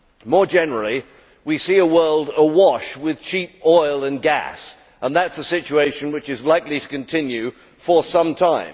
More generally, we see a world awash with cheap oil and gas and that is a situation which is likely to continue for some time.